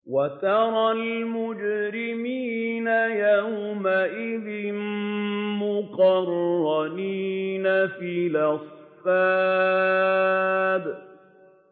وَتَرَى الْمُجْرِمِينَ يَوْمَئِذٍ مُّقَرَّنِينَ فِي الْأَصْفَادِ